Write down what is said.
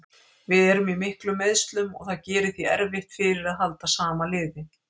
Við erum í miklum meiðslum og það gerir því erfitt fyrir að halda sama liði.